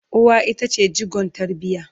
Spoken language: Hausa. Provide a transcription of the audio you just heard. uwa ita ce jigon tarbiya